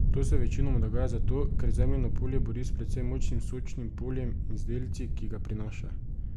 To se večinoma dogaja zato, ker se Zemljino polje bori s precej močnim Sočnim poljem in z delci, ki ga prinaša.